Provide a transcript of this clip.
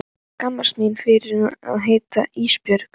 Ég skammast mín fyrir að heita Ísbjörg.